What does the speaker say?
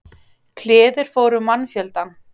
Kliður fór um mannfjöldann.